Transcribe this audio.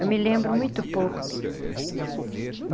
Eu me lembro muito pouco bem. Uhum.